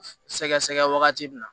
Sɛgɛsɛgɛ wagati min na